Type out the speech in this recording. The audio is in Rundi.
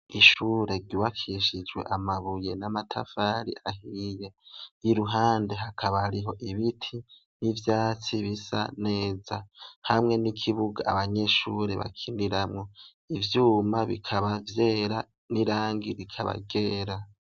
Ishuri ryubakishijwe amabuye n'amatafari ahiye iruhande hakaba hariho ibiti n'ivyatsi bisa neza hamwe n'ikibuga abanyeshuri bakiniramwo ivyuma bikaba vyera n'irangi rikaba ryera.